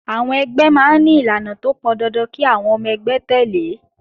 Àwọn ẹgbẹ́ máa ń ní ìlànà tó pọn dandan kí àwọn ọmọ ẹgbẹ́ tẹ̀lé